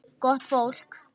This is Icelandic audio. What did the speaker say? Gott fólk.